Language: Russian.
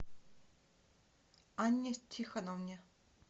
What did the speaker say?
анне тихоновне